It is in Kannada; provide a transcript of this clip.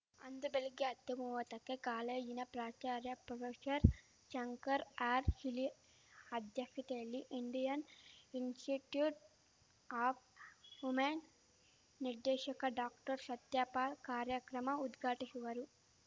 ಅಂದು ಬೆಳಿಗ್ಗೆ ಅತ್ತುಮೂವತ್ತಕ್ಕೆ ಕಾಲೇಜಿನ ಪ್ರಾಚಾರ್ಯ ಪ್ರೊಫೆಶರ್ಶಂಕರ್‌ ಆರ್‌ಶೀಲಿ ಅಧ್ಯಕ್ಷತೆಯಲ್ಲಿ ಇಂಡಿಯನ್‌ ಇನ್ಸ್‌ಟಿಟ್ಯುಟ್‌ ಆಫ್‌ ಹುಮೇನ್ ನಿರ್ದೇಶಕ ಡಾಕ್ಟರ್ಶತ್ಯಪಾಲ್‌ ಕಾರ್ಯಕ್ರಮ ಉದ್ಘಾಟಿಶುವರು